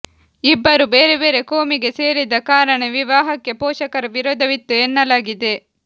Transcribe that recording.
ಇಬ್ಬರು ಬೇರೆ ಬೇರೆ ಕೋಮಿಗೆ ಸೇರಿದ ಕಾರಣ ವಿವಾಹಕ್ಕೆ ಪೋಷಕರ ವಿರೋಧವಿತ್ತು ಎನ್ನಲಾಗಿದೆ